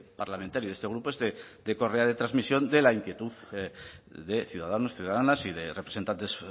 parlamentario y de este grupo es de correa de transmisión de la inquietud de ciudadanos ciudadanas y de representantes